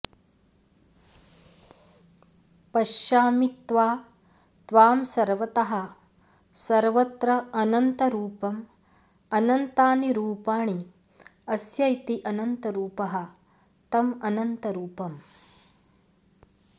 पश्यामि त्वा त्वां सर्वतः सर्वत्र अनन्तरूपं अनन्तानि रूपाणि अस्य इति अनन्तरूपः तं अनन्तरूपम्